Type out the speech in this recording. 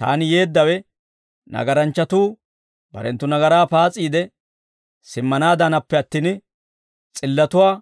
Taani yeeddawe, nagaranchchatuu barenttu nagaraa paas'iide simmanaadaanappe attin, s'illatuwaa